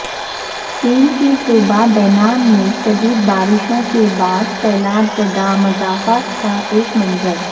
چین کے صوبہ بینان میں شدید بارشوں کے بعد سیلاب زدہ مضافات کا ایک منظر